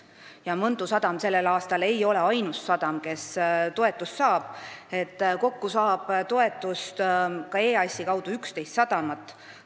Ja Mõntu sadam ei ole sellel aastal ainus, kes toetust saab, kokku saab toetust EAS-i kaudu 11 sadamat.